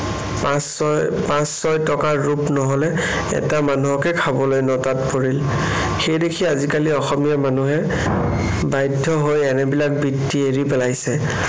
পাঁচ-ছয়, পাঁচ-ছয়টকা ৰূপ নহলে এটা মানুহকে খাবলৈ নটাত পৰিল। সেইদেখি আজিকালি অসমীয়া মানুহে বাধ্য হৈ এনেবিলাক বৃত্তি এৰি পেলাইছে।